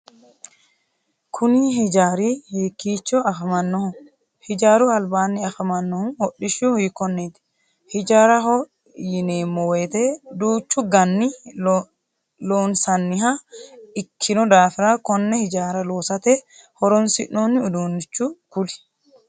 Kunni hijaari hiikicho afamanoho? Hijaaru albaanni afamanohu hodhishi hiikoneeti? Hijaaraho yineemo woyite duuchu ganni loonsanniha ikinno daafira konne hijaara loosate horoonsi'noonni uduunichu kuli?